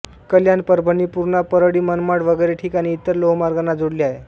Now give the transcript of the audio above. कल्याण परभणी पूर्णा परळी मनमाड वगैरे ठिकाणी इतर लोहमार्गांना जोडले आहे